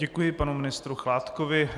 Děkuji panu ministru Chládkovi.